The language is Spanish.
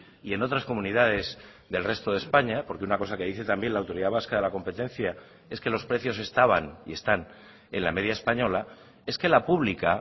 y en otras comunidades del resto de españa porque una cosa que dice también la autoridad vasca de la competencia es que los precios estaban y están en la media española es que la pública